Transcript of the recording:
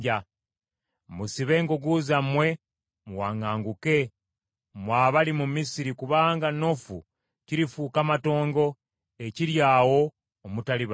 Musibe engugu zammwe muwaŋŋanguke, mmwe abali mu Misiri kubanga Noofu kirifuuka matongo, ekiryaawo omutali bantu.